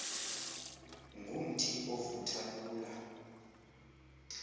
ngumthi ovutha lula